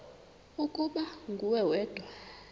ukuba nguwe wedwa